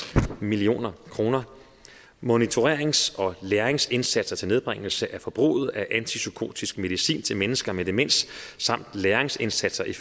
million kroner monitorerings og læringsindsatser til nedbringelse af forbruget af antipsykotisk medicin til mennesker med demens samt læringsindsatser i